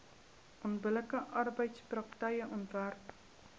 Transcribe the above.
onbillike arbeidspraktyke onderwerp